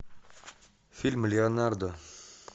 фильм леонардо